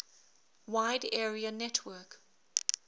wide area network